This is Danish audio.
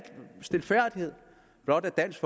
stilfærdighed blot at dansk